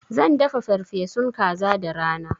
Zan dafa farfesun kaza da rana.